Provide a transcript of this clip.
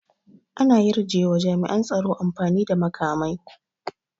An yarjewa jami'an tsaro amfani da makamai